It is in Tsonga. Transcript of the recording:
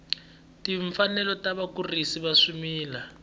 timfanelo ta vakurisi va swimila